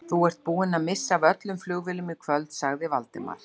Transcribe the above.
Þú ert búinn að missa af öllum flugvélum í kvöld sagði Valdimar.